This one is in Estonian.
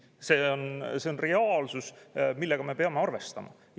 See on reaalsus, millega me peame arvestama.